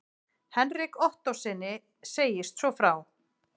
Hendrik Ottóssyni segist svo frá